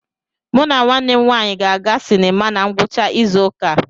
Mụ na nwanne m nwanyị ga-aga sinima na ngwụcha izu ụka a.